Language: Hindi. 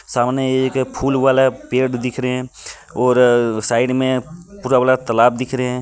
सामने एक फूल वाला पेड़ दिख रहे हैं और साइड में पूरा वाला तालाब दिख रहे हैं.